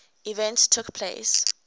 events took place